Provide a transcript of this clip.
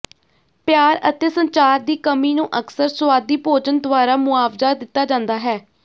ਪਿਆਰ ਅਤੇ ਸੰਚਾਰ ਦੀ ਕਮੀ ਨੂੰ ਅਕਸਰ ਸੁਆਦੀ ਭੋਜਨ ਦੁਆਰਾ ਮੁਆਵਜ਼ਾ ਦਿੱਤਾ ਜਾਂਦਾ ਹੈ